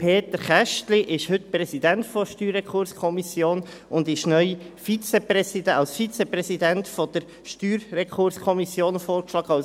Peter Kästli ist heute Präsident der StRK und ist neu als Vizepräsident der StRK vorgeschlagen.